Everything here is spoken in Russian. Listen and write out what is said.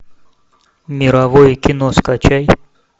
мировое кино скачай